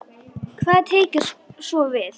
Hvað tekur svo við?